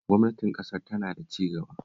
Gwamnatin ƙasar tana cigaba